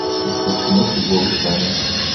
искать кино с любовью саймон